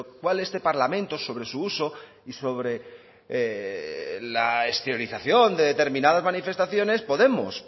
cual este parlamento sobre su uso y sobre la exteriorización de determinadas manifestaciones podemos